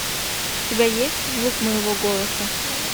у тебя есть звук моего голоса